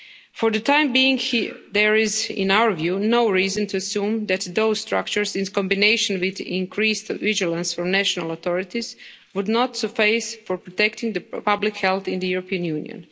For the time being, there is, in our view, no reason to assume that those structures, in combination with increased vigilance from national authorities, would not suffice for protecting public health in the European Union.